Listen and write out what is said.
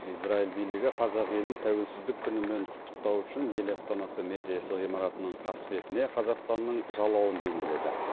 израиль билігі қазақ елін тәуелсіздік күнімен құттықтау үшін ел астанасы мэриясы ғимаратының қасбетіне қазақстанның жалауын бейнеледі